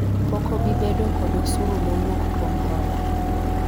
pok ob bi bedo kod osuru mowuok kuom hola